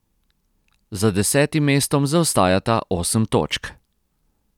Za desetim mestom zaostajata osem točk.